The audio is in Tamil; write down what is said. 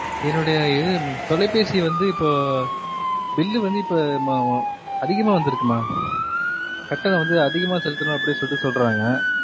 என்னுடைய இது தொலைபேசி வந்து இப்போ bill லு வந்து இப்போ அதிகமா வந்து இருக்கு மா கட்டணம் வந்து அதிகமா செலுத்தணு அப்புடின்னு சொலிட்டி சொல்றாங்க